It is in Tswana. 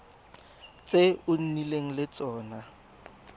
tse o nnileng le tsone